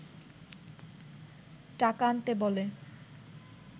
টাকা আনতে বলে